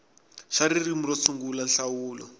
xa ririmi ro sungula nhlawulo